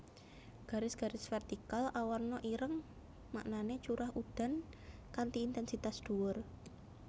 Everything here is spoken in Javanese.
Garis garis vertikal awarna ireng maknané curah udan kanthi intènsitas dhuwur